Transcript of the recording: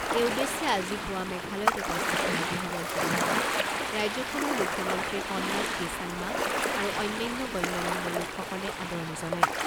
এই উদ্দেশ্যে আজি পুৱা মেঘালয়ত উপস্থিত হোৱা গৃহমন্ত্ৰীগৰাকীক ৰাজ্যখনৰ মুখ্যমন্ত্ৰী কনৰাড কে চাংমা আৰু অন্যান্য গণ্যমান্য লোকসকলে আদৰণি জনায়।